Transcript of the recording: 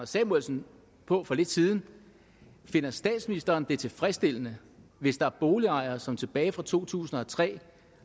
samuelsen på for lidt siden finder statsministeren det tilfredsstillende hvis der er boligejere som tilbage fra to tusind og tre